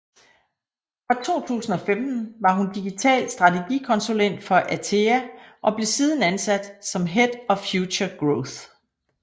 Fra 2015 var hun digital strategikonsulent for ATEA og blev siden ansat som head of Future Growth